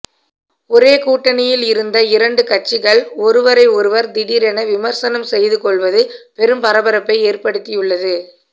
ஒரே கூட்டணியில் இருந்த இரண்டு கட்சிகள் ஒருவரை ஒருவர் திடீரென விமர்சனம் செய்து கொள்வது பெரும் பரபரப்பை ஏற்படுத்தி உள்ளது